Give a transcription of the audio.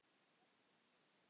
Vestur á Melum.